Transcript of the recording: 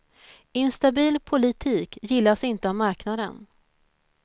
Instabil politik gillas inte av marknaden.